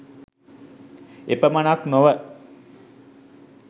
එපමණක් නොව